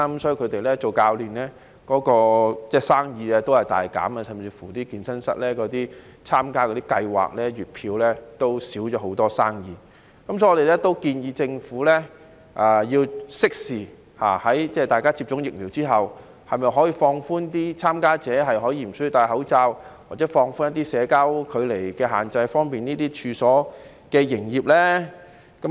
所以一眾教練的生意大減，甚至乎參加健身室月票計劃的生意也大減。所以我們建議政府要適時推行措施，待大家接種疫苗之後，考慮是否可以放寬參加者可以無須佩戴口罩，或者放寬一些社交距離的限制，以方便有關處所的營業呢？